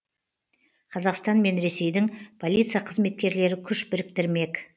қазақстан мен ресейдің полиция қызметкерлері күш біріктірмек